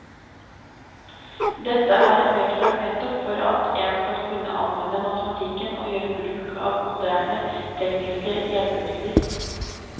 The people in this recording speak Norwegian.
Dette er vektlagt nettopp for at en skal kunne anvende matematikken og gjøre bruk av moderne tekniske hjelpemidler.